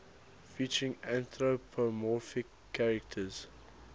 featuring anthropomorphic characters